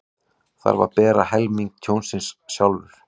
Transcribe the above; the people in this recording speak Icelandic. Þarf að bera helming tjónsins sjálfur